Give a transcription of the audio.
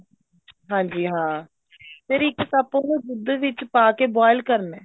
ਹਾਂਜੀ ਹਾਂ ਫ਼ੇਰ ਇੱਕ cup ਉਹਨੂੰ ਦੁੱਧ ਵਿੱਚ ਪਾ ਕੇ boil ਕਰਨਾ